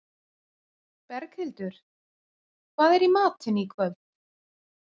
Berghildur, hvað er í matinn í kvöld?